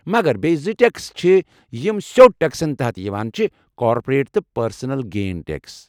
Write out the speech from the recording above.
مگر بیٚیہِ زٕ ٹٮ۪کس چھِ یم سیوٚد ٹٮ۪کسن تحت چھِ یوان، کارپوریٹ تہٕ پرسنل گین ٹٮ۪کس۔